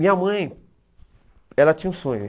Minha mãe, ela tinha um sonho.